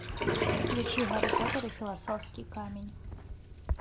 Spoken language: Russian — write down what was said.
включи гарри поттер и философский камень